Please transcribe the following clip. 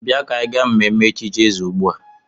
Bịa ka anyị gaa mmemme echichi eze ugbu a!